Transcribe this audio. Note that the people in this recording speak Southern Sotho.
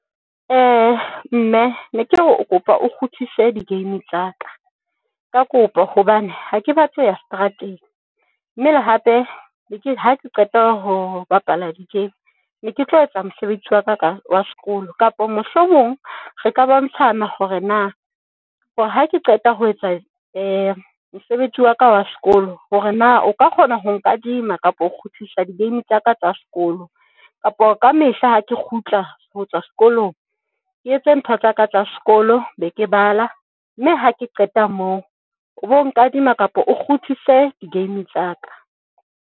Mme ne ke re o ke kopa o kgutlise di-game tsa ka, ka kopa hobane ha ke batle ho ya strateng, mme le hape ha ke qeta ho bapala di-game ne ke tlo etsa mosebetsi wa ka wa sekolo, kapa mohlomong re ka bontshana hore na hore ha ke qeta ho etsa mosebetsi wa ka wa sekolo hore na o ka kgona ho nkadima kapa ho kgutlisa di-game tsa ka tsa sekolo kapo ka mehla ha ke kgutla ho tswa sekolong, ke etse ntho tsaka tsa sekolo be ke bala mme ha ke qeta moo o bo nkadima kapo o kgutlise di-game tsa ka.